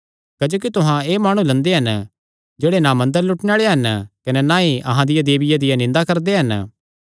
क्जोकि तुहां एह़ माणु लंदे हन जेह्ड़े ना मंदरे लुटणे आल़े हन कने ना ई अहां दिया देविया दी निंदा करदे हन